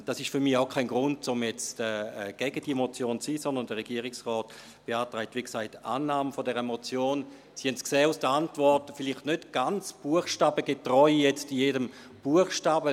Dies ist für mich auch kein Grund, um jetzt gegen diese Motion zu sein, sondern der Regierungsrat beantragt, wie gesagt, Annahme dieser Motion, wenn auch – Sie haben es in der Antwort gesehen – vielleicht nicht ganz buchstabengetreu bei jedem Buchstaben;